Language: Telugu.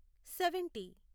సెవెంటీ